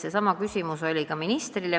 Seesama küsimus oli ka ministrile.